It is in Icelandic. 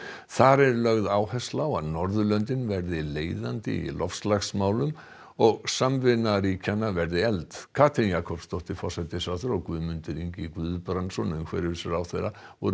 þar er lögð áhersla á að Norðurlöndin verði leiðandi í loftslagsmálum og samvinna ríkjanna verði efld Katrín Jakobsdóttir forsætisráðherra og Guðmundur Ingi Guðbrandsson umhverfisráðherra voru